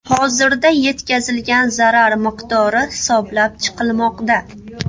Hozirda yetkazilgan zarar miqdori hisoblab chiqilmoqda.